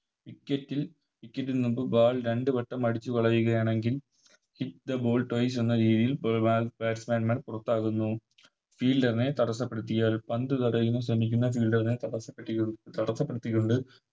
Wicket wicket നിന്നിട്ട് Ball രണ്ട് വട്ടം അടിച്ചുകളയുകയാണെങ്കിൽ Kick the ball twice എന്ന രീതിയിൽ ബ് Batsman മാർ പുറത്താകുന്നു Fielder നെ തടസ്സപ്പെടുത്തിയാൽ പന്ത് തടയാൻ ശ്രമിക്കുന്ന Fielder നെ തടസ്സപ്പെ തടസ്സപ്പെടുത്തികൊണ്ട്